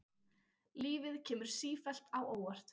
Lífið kemur sífellt á óvart.